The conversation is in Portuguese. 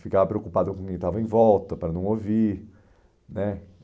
Ficava preocupado com quem estava em volta, para não ouvir, né?